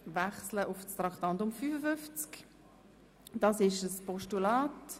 Es handelt sich ebenfalls um ein Postulat.